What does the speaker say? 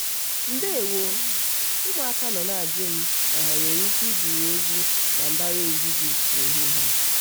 ndewo! ụmụaka nọ na-ajụ m ma ha e nwere ike igwu egwu na mbaraezi gị n'ehihie a?